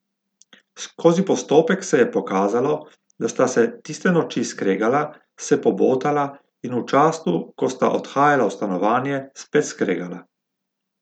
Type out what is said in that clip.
Skozi postopek se je pokazalo, da sta se tiste noči skregala, se pobotala in v času, ko sta odhajala v stanovanje, spet skregala.